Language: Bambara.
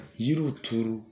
Yiriw turu